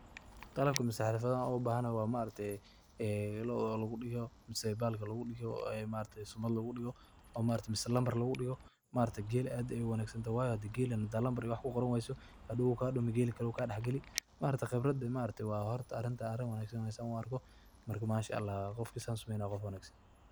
Qalabka masarista an oga bahanahay waxa weye ,oo lagu digo sheybalka oo lagu digo ini maaragte sumad lagu digo mise nambar lagu digo ,maaragte gela aad bey u wanag santahay maaragte gela hadaad nambar ku qorani weyso hadow u kadumi oo gela kale uu kadex geli, maaragte khibradan arin aad u wanagsan waye san u arko, marka Masha ALLAH qofka sas sumenayo waa qof wanagsan.